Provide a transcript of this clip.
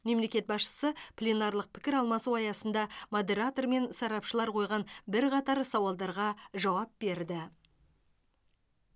мемлекет басшысы пленарлық пікір алмасу аясында модератор мен сарапшылар қойған бірқатар сауалдарға жауап берді